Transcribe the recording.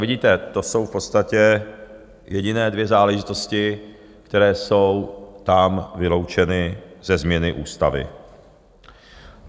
Vidíte, to jsou v podstatě jediné dvě záležitosti, které jsou tam vyloučeny ze změny ústavy.